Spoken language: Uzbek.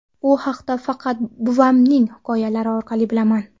U haqda faqat buvamning hikoyalari orqali bilaman.